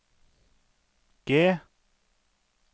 G